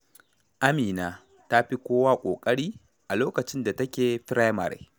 Amina ta fi kowa ƙoƙari a lokacin da take firamare.